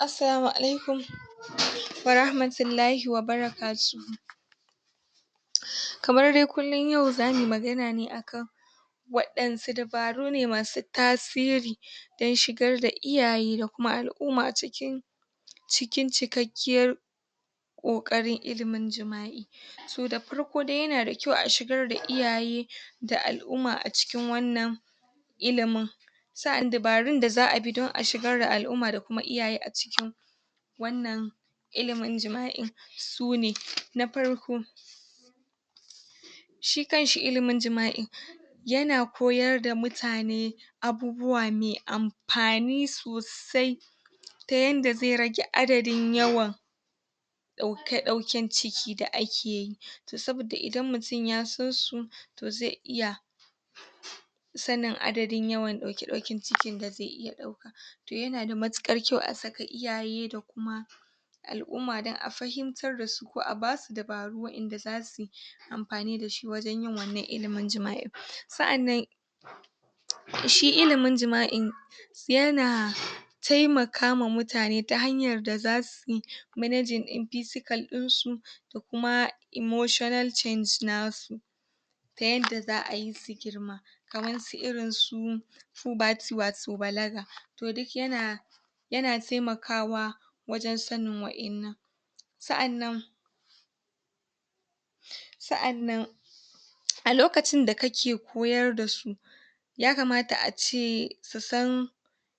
Assalamu Alaikum Wa Rahmatullahi Wa Barakatuhu kamar dai kullum yau za muyi magana ne akan waɗansu dabaru ne masu tasiri dan shigar da iyaye da kuma al'uma cikin cikin cikakkiyar koƙarin ilimin jima'i. Toh da parko dai yana da ƙyau a shigar da iyaye da al'uma a cikin wannan ilimin, sa'annan dabarun da za'a bi don a shigar da al'umma da kuma iyaye a cikin wannan ilimin jima'in sune; na parko, shi kanshi ilimin jima'in yana koyarda mutane abubuwa mai ampani sosai ta yanda ze rage adadin yawan ɗauke-ɗauken ciki da akeyi toh saboda idan mutum ya sansu toh ze iya sanin adadin yawan ɗauke-ɗauken cikin da ze iya ɗauka toh yanada matuƙar ƙyau a saka iyaye da kuma al'umma dan a fahimtar dasu ko a basu dabaru wa'inda za suyi ampani dashi wajan yin wannan ilimin jima'i sa'annan shi ilimin jima'in yana taimakawa mutane ta hanyar da za suyi managing din pisical ɗinsu da kuma emotional change nasu da yanda za'ayi su girma kamansu irinsu puberty wato balaga, toh duk yana yana taimakawa wajan sanin wa'innan. Sa'annan sa'annan a lokacin da kake koyarda su ya kamata ace su san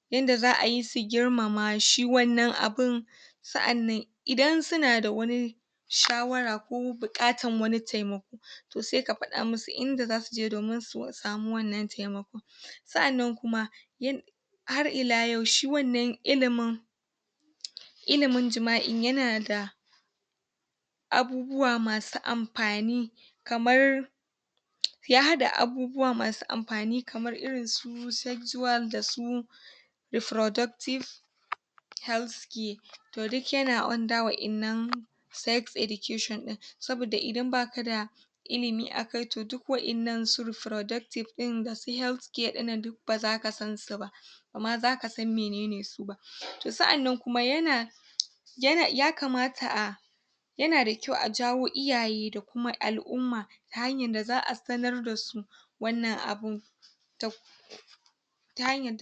yanda za'ayi su girmama shi wannan abun sa'annan idan suna da wani shawara ko buƙatan wani taimako toh seka pada musu inda za suje domin su samu wannan taimakon, sannan kuma yan har ila yau shi wannan ilimin ilimin jima'in yana da abubuwa masu ampani kamar ya haɗa abubuwa masu ampani kamar irin su su sexual da su productive health care toh duk yana under [ƙarƙashin] wa'innan sex education ɗin, saboda idan ba kada ilimi akai toh duk wa'innan su refroductive ɗin da su health care ɗinnan duk ba zaka sansu ba bama zaka san menene su ba, toh sa'annan kuma yana yana ya kamata a yana da ƙyau a jawo iyaye da kuma al'umma ta hanyar da za'a sanarda su wannan abun toh ta hanyan...